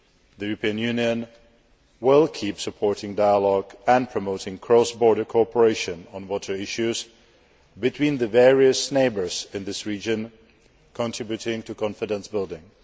The European Union will keep supporting dialogue and promoting cross border cooperation on water issues between the various neighbours in this region, contributing to confidence building.